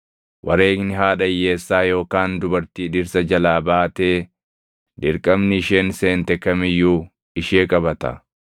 “Wareegni haadha hiyyeessaa yookaan dubartii dhirsa jalaa baatee, dirqamni isheen seente kam iyyuu ishee qabata.